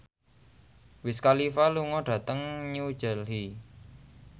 Wiz Khalifa lunga dhateng New Delhi